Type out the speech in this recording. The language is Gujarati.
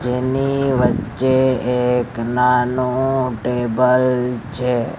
જેની વચ્ચે એક નાનું ટેબલ છે.